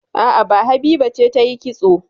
A'a, ba Habiba ce ta yi kitso